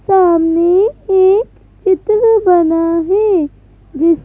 सामने एक चित्र बना है जिस--